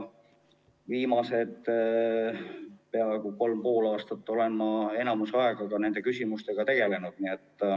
Viimased peaaegu kolm ja pool aastat olen ma enamiku ajast ka nende küsimustega tegelenud.